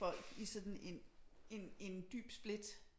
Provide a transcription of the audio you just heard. Folk i sådan en en dyb split